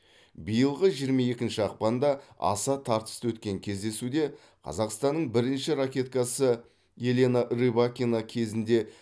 биылғы жиырма екінші ақпанда аса тартысты өткен кездесуде қазақстанның бірінші ракеткасы елена рыбакина кезінде